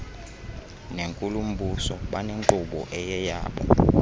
nenkulumbuso banenkqubo eyeyabo